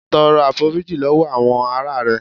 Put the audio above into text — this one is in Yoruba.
Tọrọ àforíjìn lọwọ àwọn ará rẹ.